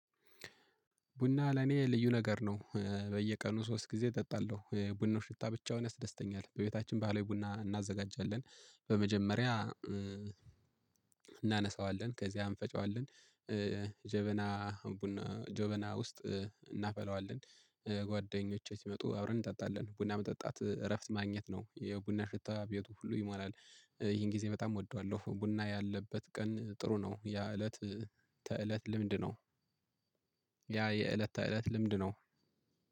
ቡና ለኔ ልዩ ነገር ነው በየቀኑ ሶስት ጊዜ እጠጣለሁ የቡናው ሽታ ብቻውን ያስደስተኛል። በቤታችን ባለው ቡና እናዘጋጃለን በመጀመሪያ እናነሳዋለን ከዚያ እንፈጨዋለን ጀበና ጀበና ውስጥ እናፈላዋለን። ጓደኞቼ ሲመጡ አብረን እንጠጣለን ቡና መጠጣት እረፍት ማግኘት ነው የቡና ሽታ ቤቱ ሁሉ ይሞላል። ይሄን ጊዜ በጣም እወደዋለሁ ቡና ያለበት ቀን ጥሩ ነው። ያ እለት ተእለት ልምድ ነው። ያ የእለት ተእለት ልምድ ነው።